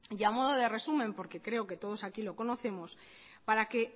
y a modo de resumen porque creo que todos aquí lo conocemos para que